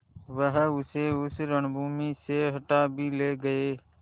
वह उसे उस रणभूमि से हटा भी ले गये